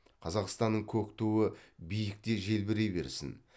қазақстанның көк туы биікте желбірей берсін